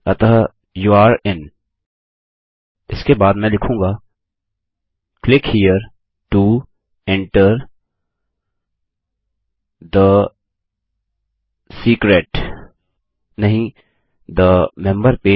अतः your in इसके बाद मैं लिखूँगा click here to enter the secret नहीं थे मेंबर पेज